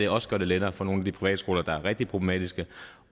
også gør det lettere for nogle af de privatskoler der er rigtig problematiske